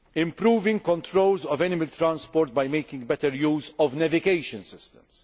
improving controls of animal transport by making better use of navigation systems